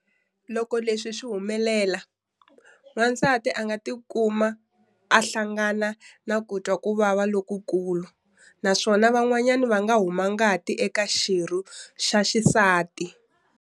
Loko leswi swi humelela, wansati a nga ti kuma a hlangana na ku twa ku vava lokukulu naswona van'wana va nga huma ngati eka xirho xa xisati.